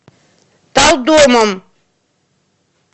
талдомом